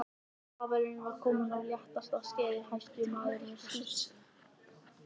Kavalerinn var kominn af léttasta skeiði, hæruskotinn maður með snyrtilegt yfirskegg og virðulegt fas.